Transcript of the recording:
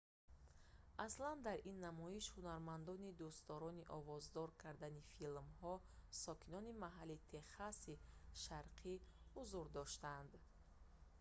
аслан дар ин намоиш ҳунармандони дӯстдорони овоздор кардани филмҳо сокинони маҳаллии техаси шарқӣ ҳузур доштанд